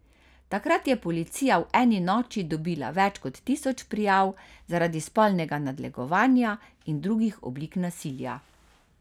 Takrat je policija v eni noči dobila več kot tisoč prijav zaradi spolnega nadlegovanja in drugih oblik nasilja.